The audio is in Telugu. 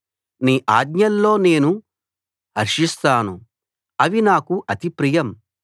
నీ ఆజ్ఞల్లో నేను హర్షిస్తాను అవి నాకు అతి ప్రియం